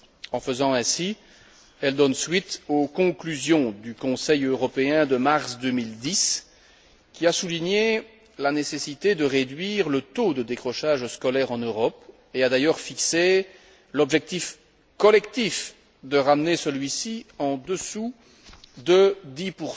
En faisant ainsi, elle donne suite aux conclusions du Conseil européen de mars 2010 qui a souligné la nécessité de réduire le taux de décrochage scolaire en Europe et a d'ailleurs fixé l'objectif collectif de ramener celui ci en dessous de 10